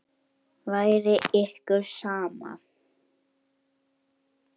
Væri ykkur sama?